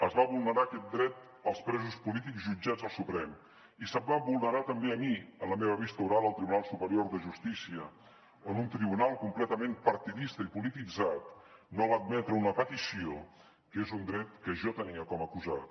es va vulnerar aquest dret als presos polítics jutjats al suprem i se’m va vulnerar també a mi a la meva vista oral al tribunal superior de justícia on un tribunal completament partidista i polititzat no va admetre una petició que és un dret que jo tenia com a acusat